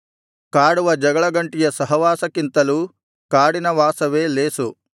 ಕಾಡುವ ಜಗಳಗಂಟಿಯ ಸಹವಾಸಕ್ಕಿಂತಲೂ ಕಾಡಿನ ವಾಸವೇ ಲೇಸು